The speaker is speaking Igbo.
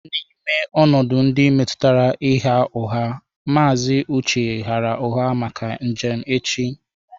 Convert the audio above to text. N'ime ọnọdụ ndị metụtara ịgha ụgha, Mr. Uche ghaara ụgha maka njem echi